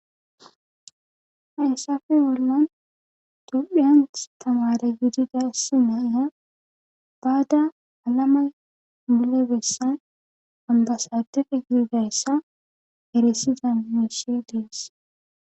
Hayssafe bolan tophiyan tamare gididasi nayya baada alama milebessan ambasadere girdayssa heresida mesie deess